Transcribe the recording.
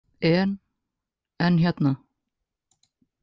En, en hérna.